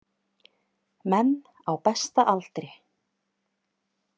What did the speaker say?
Menn á besta aldri.